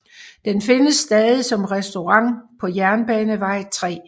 Den findes stadig som restaurant på Jernbanevej 3